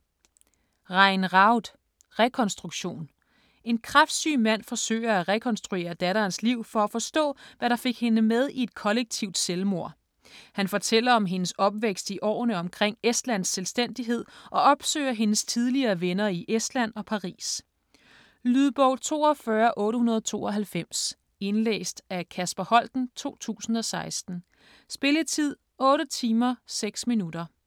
Raud, Rein: Rekonstruktion En kræftsyg mand forsøger at rekonstruere datterens liv for at forstå, hvad der fik hende med i et kollektivt selvmord. Han fortæller om hendes opvækst i årene omkring Estlands selvstændighed og opsøger hendes tidligere venner i Estland og Paris. Lydbog 42892 Indlæst af Kasper Holten, 2016. Spilletid: 8 timer, 6 minutter.